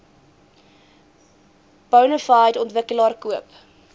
bonafide ontwikkelaar koop